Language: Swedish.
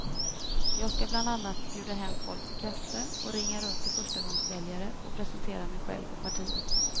Jag ska bland annat bjuda hem folk på kaffe och ringa runt till förstagångsväljare och presentera mig själv och partiet.